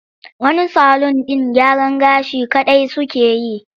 Wani salun ɗin gyaran gashi kaɗai suke yi.